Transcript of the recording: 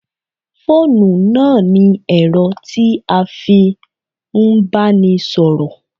Fóònù náà ni ẹ̀rọ tí a fi ń bánisọ̀rọ̀